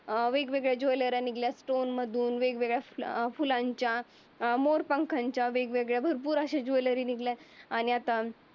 वेगवेगळ्या ज्वेलरी निघाल्या. स्टोन मधून अं फुलांच्या अं मोरपंखांच्या आणि भरपूर अशा वेगवेगळ्या आणि आता